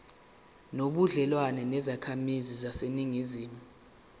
nobudlelwane nezakhamizi zaseningizimu